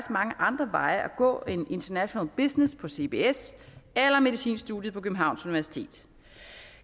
mange andre veje at gå end international business på cbs eller medicinstudiet på københavns universitet